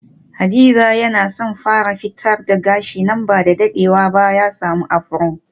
Hadiza yana son fara fitar da gashi nan bada dadewa ba ya samu afro.